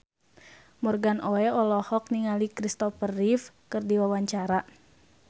Morgan Oey olohok ningali Christopher Reeve keur diwawancara